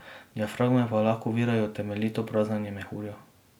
Diafragme pa lahko ovirajo temeljito praznjenje mehurja.